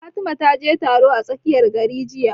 Fatima ta je taro a tsakiyar garin jiya